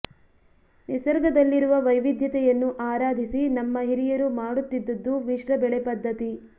ನಿಸರ್ಗದಲ್ಲಿರುವ ವೈವಿಧ್ಯತೆಯನ್ನು ಆರಾಧಿಸಿ ನಮ್ಮ ಹಿರಿಯರು ಮಾಡುತ್ತಿದ್ದುದು ಮಿಶ್ರ ಬೆಳೆ ಪದ್ಧತಿ